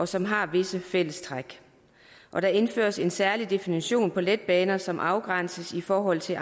som har visse fællestræk der indføres en særlig definition på letbaner som afgrænses i forhold til